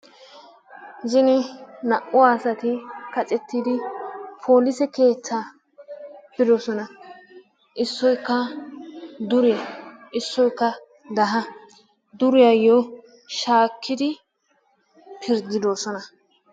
Zine naa''u asati kaccettidi polisse keetta bidoosona. issoykka dure, issoykka daha. duriyaayyo shaakidi pirddidoosona.